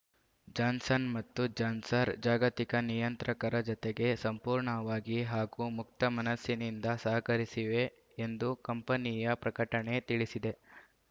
Johnson ಮತ್ತು Johnson ಜಾಗತಿಕ ನಿಯಂತ್ರಕರ ಜತೆಗೆ ಸಂಪೂರ್ಣವಾಗಿ ಹಾಗೂ ಮುಕ್ತ ಮನಸ್ಸಿನಿಂದ ಸಹಕರಿಸಿವೆ ಎಂದು ಕಂಪನಿಯ ಪ್ರಕಟಣೆ ತಿಳಿಸಿದೆ